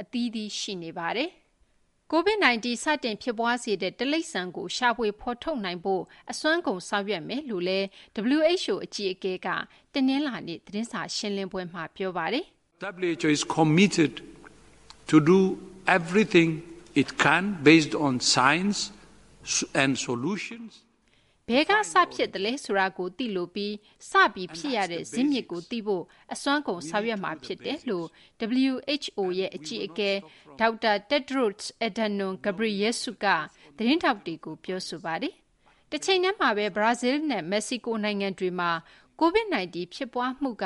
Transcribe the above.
အသီးသီး ရှိနေပါတယ်။ COVID 19 စတင် ဖြစ်ပွားစေတဲ့ တိရိစ္ဆာန်ကို ရှာဖွေ ဖော်ထုတ်နိုင်ဖို့ အစွမ်းကုန် ဆောင်ရွက်သွားမယ်လို့ WHO အကြီးအကဲက တနလာၤနေ့ သတင်းစာရှင်းလင်းပွဲမှာ ပြောပါတယ်။ "ဘယ်က စဖြစ်သလဲဆိုတာကို သိလိုပြီး စဖြစ်ရတဲ့ ဇစ်မြစ်ကို သိရဖို့ အစွမ်းကုန် ဆောင်ရွက်မှာ ဖြစ်တယ်"လို့ WHO အကြီးအကဲ Tedros Adhanom Ghebreyesus က သတင်းထောက်တွေကို ပြောဆိုသွားပါတယ်။ တချိန်တည်းမှာဘဲ ဘရာဇီလ်းနဲ့ မက္ကဆီကို နိုင်ငံတွေမှာ COVID-19 ဖြစ်ပွားမှုက